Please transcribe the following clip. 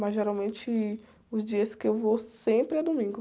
Mas geralmente os dias que eu vou sempre é domingo.